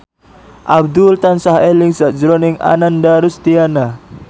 Abdul tansah eling sakjroning Ananda Rusdiana